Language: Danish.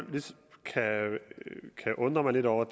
kan undre mig lidt over